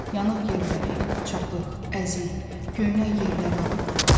yanıq yerləri, çapıq, əzik, göynək yerləri ağrıdırdı.